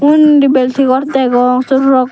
wondi bilding gor degong sey rock.